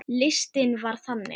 Listinn var þannig